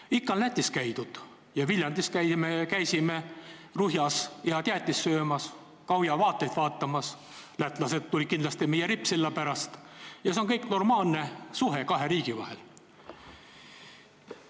Muidugi, ikka on Lätis käidud, Viljandist oleme käinud Ruhjas head jäätist söömas, Gauja vaateid vaatamas, lätlased tulid meile kindlasti meie rippsilla pärast – see on normaalne suhe kahe riigi vahel.